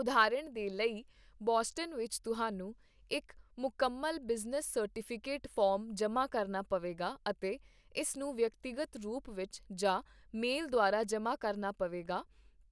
ਉਦਾਹਰਣ ਦੇ ਲਈ, ਬੋਸਟਨ ਵਿੱਚ, ਤੁਹਾਨੂੰ ਇੱਕ ਮੁਕੰਮਲ ਬਿਜ਼ਨਸ ਸਰਟੀਫਿਕੇਟ ਫਾਰਮ ਜਮ੍ਹਾਂ ਕਰਨਾ ਪਵੇਗਾ ਅਤੇ ਇਸ ਨੂੰ ਵਿਅਕਤੀਗਤ ਰੂਪ ਵਿੱਚ ਜਾਂ ਮੇਲ ਦੁਆਰਾ ਜਮ੍ਹਾਂ ਕਰਨਾ ਪਵੇਗਾ,